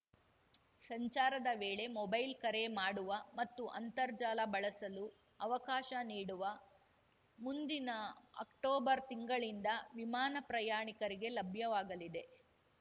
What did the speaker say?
ಸಂಚಾರದ ವೇಳೆ ಮೊಬೈಲ್‌ ಕರೆ ಮಾಡುವ ಮತ್ತು ಅಂತರ್ಜಾಲ ಬಳಸಲು ಅವಕಾಶ ನೀಡುವ ಮುಂದಿನ ಅಕ್ಟೋಬರ್‌ ತಿಂಗಳಿಂದ ವಿಮಾನ ಪ್ರಯಾಣಿಕರಿಗೆ ಲಭ್ಯವಾಗಲಿದೆ